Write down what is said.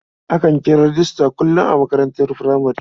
Akan kira rejista kullum a makarantar furamare.